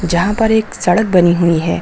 जहां पर एक सड़क बनी हुई है।